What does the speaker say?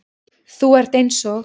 Þú ert eins og